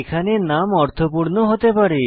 এখানে নাম অর্থপূর্ণ হতে হবে